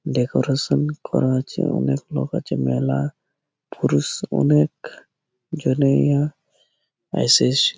Decoration করা আছে। অনেক লোক আছে। মেলা-আ পুরুষ অনেক জনিয়া এসেসে।